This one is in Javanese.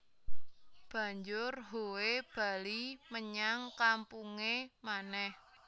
Banjur Howe bali menyang kampunge manèh